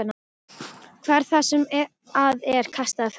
Hvað er það sem að er kastað fram?